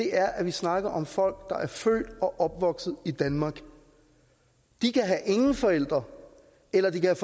er at vi snakker om folk der er født og opvokset i danmark de kan have ingen forældre eller de kan